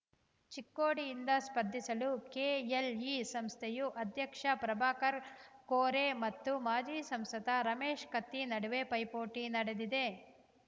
ಚಿಕ್ಕೋಡಿಯಿಂದ ಸ್ಪರ್ಧಿಸಲು ಕೆಎಲ್ಇ ಸಂಸ್ಥೆಯು ಅಧ್ಯಕ್ಷ ಪ್ರಭಾಕರ್ ಕೋರೆ ಮತ್ತು ಮಾಜಿ ಸಂಸದ ರಮೇಶ್ ಕತ್ತಿ ನಡುವೆ ಪೈಪೋಟಿ ನಡೆದಿದೆ